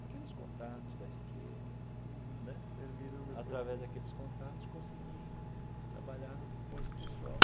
Aqueles contatos da esquerda. Uhum. Né. Serviram depois. Através daqueles contatos, consegui trabalhar com esse pessoal.